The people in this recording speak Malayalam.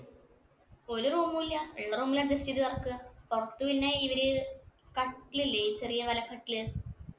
ഒരു room ഉം ഇല്ല. ഒരു റൂമില് ഉള്ള room ഇല്‍ adjust ചെയ്ത് കിടക്കുവാ. പിന്നെ ഇവര് കട്ടിൽ ഇല്ലേ ചെറിയ വലക്കട്ടില്.